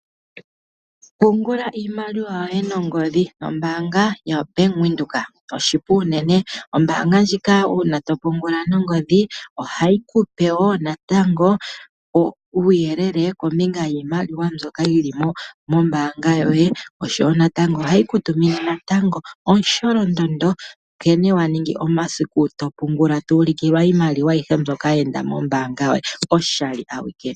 Pungula iimaliwa yoye nongodhi no mbanga ya Bank Windhoek, oshipu uunene. Oombanga ndjika uuna to pungula nongodhi ohayi kupe woo natango uuyelele kombinga yiimaliwa mbyoka yili mombanga yoye , osho wo natango ohayi ku tumine natango omusholondondo nkene wa ningi omasiku to pungula, to ulikilwa iimaliwa ayihe mbyoka ya enda moombanga yoye, oshali awike.